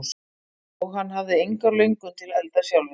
Og hann hafði enga löngun til að elda sjálfur.